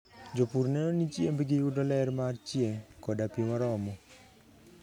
Jopur neno ni chiembgi yudo ler mar chieng' koda pi moromo.